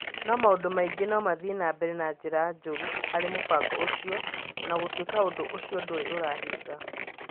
No maũndũ maingĩ no mathiĩ na mbere na njĩra njũru harĩ mũbango ũcio, o na gũtuĩka ũndũ ũcio ndũrĩ ũrahinga.